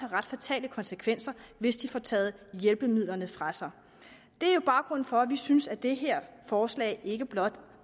ret fatale konsekvenser hvis de får taget hjælpemidlerne fra sig det er jo baggrunden for at vi synes at det her forslag ikke blot